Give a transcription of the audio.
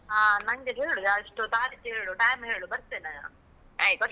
ಹಾ, ನಂಗೆ ಹೇಳು ಯಾ ಎಷ್ಟು ತಾರೀಖ್ ಹೇಳು, time ಹೇಳು ಬರ್ತೇನೆ ನಾನು ಬರ್ತೇನೆ.